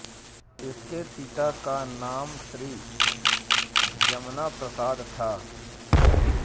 इनके पिता का नाम श्री जमना प्रसाद था